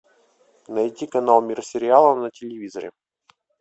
найти канал мир сериала на телевизоре